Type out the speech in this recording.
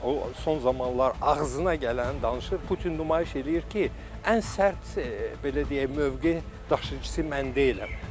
O son zamanlar ağzına gələni danışır, Putin nümayiş eləyir ki, ən sərt, belə deyək, mövqe daşıyıcısı mən deyiləm.